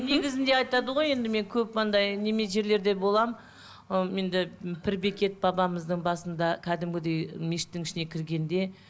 негізінде айтады ғой енді мен көп андай жерлерде боламын ы енді пір бекет бабамыздың басында кәдімгідей мешіттің ішіне кіргенде